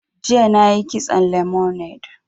Jiya na yi kitson lemonade